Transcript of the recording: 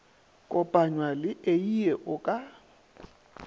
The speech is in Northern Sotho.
kopanywa le eie o ka